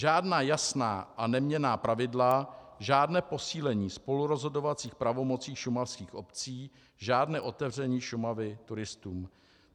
Žádná jasná a neměnná pravidla, žádné posílení spolurozhodovacích pravomocí šumavských obcí, žádné otevření Šumavy turistům.